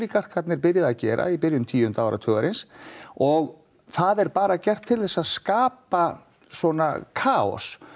byrjað að gera í byrjun tíu áratugarins og það er bara gert til þess að skapa svona kaos